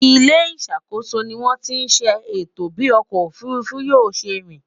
ilé ìṣàkóso ní wón tí ṣe ètò bi ọkọ òfurufú yóò ṣé rìn